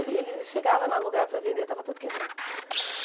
Ele ele chegava no lugar para vender e estava tudo quebrado.